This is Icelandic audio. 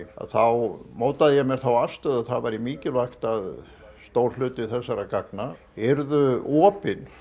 þá mótaði ég mér þá afstöðu að það væri mikilvægt að stór hluti þessara gagna yrðu opin